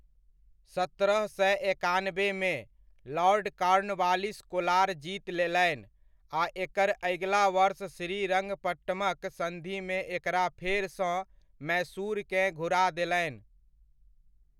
सत्रह सए एकानबेमे, लॉर्ड कॉर्नवलिस कोलार जीत लेलनि आ एकर अगिला वर्ष श्रीरङ्गपट्टमक सन्धिमे एकरा फेरसँ मैसूरकेँ घुरा देलनि।